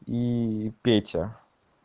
и петя